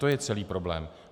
To je celý problém.